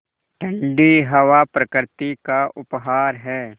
ठण्डी हवा प्रकृति का उपहार है